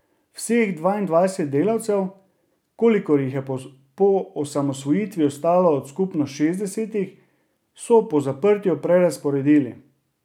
Vseh dvaindvajset delavcev, kolikor jih je po osamosvojitvi ostalo od skupno šestdesetih, so po zaprtju prerazporedili.